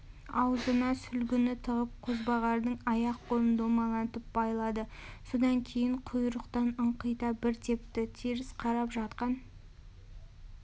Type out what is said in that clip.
аузына сүлгіні тығып қозбағардың аяқ-қолын домалантып байлады содан кейін құйрықтан ыңқита бір тепті теріс қарап жатқан